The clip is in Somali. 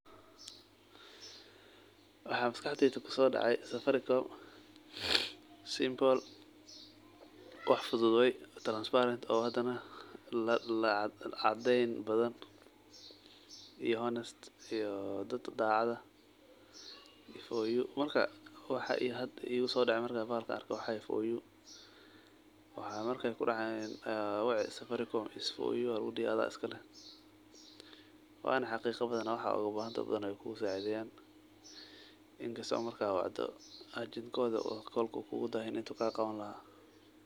Waxa maskaxdeyda kusodacdey safaricom simple wax fudud transparent wax caad iyo honest dad dacaad ah oo hadaa waxa kasokadeyda kusodece marka wacdo safaricom is for you aya lugudhi marka adhiga iskaleeh inkasto marka wacto ey kolka kugudahinayin ajent koda.